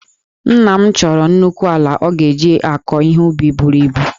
Nna m chọrọ nnukwu ala ọ ga-eji akọ ihe ubi buru ibu